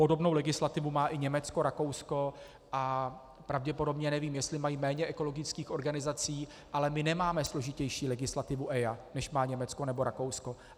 Podobnou legislativu má i Německo, Rakousko a pravděpodobně, nevím, jestli mají méně ekologických organizací, ale my nemáme složitější legislativu EIA, než má Německo nebo Rakousko.